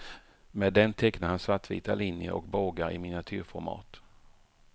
Med den tecknar han svartvita linjer och bågar i miniatyrformat.